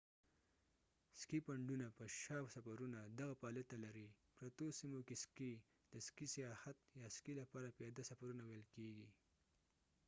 سکي پنډونه په شا سفرونه دغه فعالیت ته لرې پرتو سیمو کې سکي د سکي سیاحت یا سکي لپاره پیاده سفرونه ویل کیږي